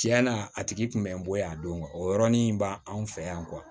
Tiɲɛna a tigi kun bɛ n bolo yan don o yɔrɔnin b'an fɛ yan